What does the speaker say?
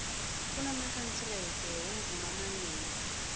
kunamakanserete womvumo amanengi